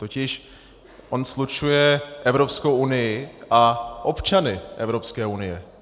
Totiž on slučuje Evropskou unii a občany Evropské unie.